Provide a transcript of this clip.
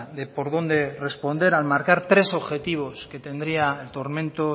de por dónde responder al marcar tres objetivos que tendría el tormento